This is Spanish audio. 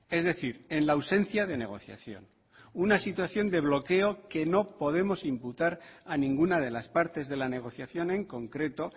es decir en la ausencia de negociación una situación de bloqueo que no podemos imputar a ninguna de las partes de la negociación en concreto